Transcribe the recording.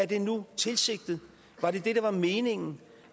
det nu utilsigtet var det det der var meningen